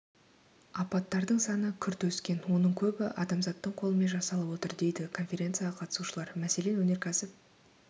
апаттардың саны күрт өскен оның көбі адамзаттың қолымен жасалып отыр дейді конференцияға қатысушылар мәселен өнеркәсіп